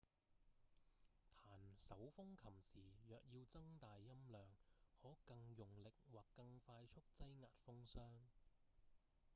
彈手風琴時若要增大音量可更用力或更快速擠壓風箱